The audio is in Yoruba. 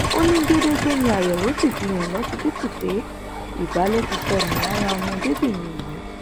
ó ní gedegbe ni àyẹwò sì fi hàn lọsibítù pé ìbàlẹ ti sọnù lára ọmọdébìnrin yìí